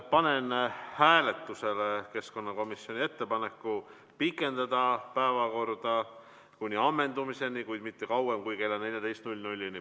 Panen hääletusele keskkonnakomisjoni ettepaneku pikendada päevakorda kuni ammendumiseni, kuid mitte kauem kui kella 14-ni.